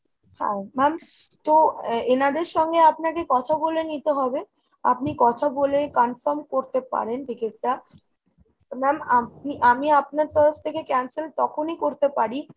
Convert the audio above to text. হ্যাঁ ma'am তো এনাদের সঙ্গে আপনাকে কথা বলে নিতে হবে। আপনি কথা বলে confirm করতে পারেন ticket টা। ma'am আমি আপনার তরফ থেকে cancel তখনই করতে পারি